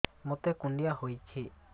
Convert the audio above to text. ମୋତେ କୁଣ୍ଡିଆ ହେଇଚି